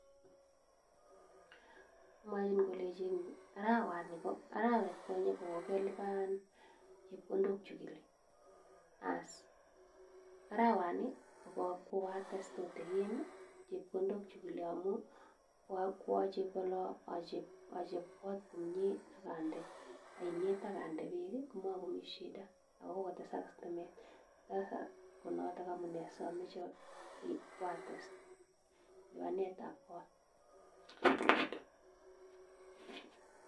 mwachin kolenjin arawanii kokoates tutigin ko arweet konyee kokkeliban chepkondok chekileee ko amun sigere ile kwates chepkondok ap kot